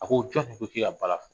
A ko jɔ de ko k'e ka bala fɔ